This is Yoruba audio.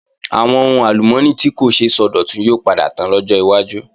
Àwọn ohun àlùmọ́ọ́nì tí kò ṣeé sọdọ̀tun yóò padà tán lọ́jọ́ wájú